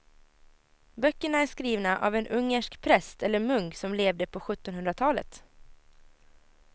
Böckerna är skrivna av en ungersk präst eller munk som levde på sjuttonhundratalet.